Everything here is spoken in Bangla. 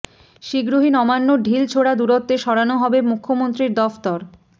শীঘ্রই নবান্নর ঢিল ছোড়া দূরত্বে সরানো হবে মুখ্যমন্ত্রীর দফতর